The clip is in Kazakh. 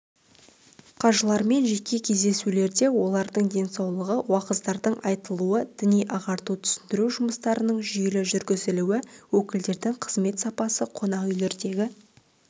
қажылармен жеке кездесулерде олардың денсаулығы уағыздардың айтылуы діни ағарту-түсіндіру жұмыстарының жүйелі жүргізілуі өкілдерінің қызмет сапасы қонақүйлердегі